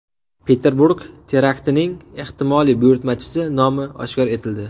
Peterburg teraktining ehtimoliy buyurtmachisi nomi oshkor etildi.